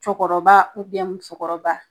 Cɔkɔrɔba ubiyɛn musokɔrɔba